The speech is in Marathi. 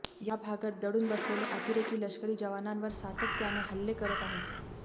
या भागात दडून बसलेले अतिरेकी लष्करी जवानांवर सातत्यानं हल्ले करत आहेत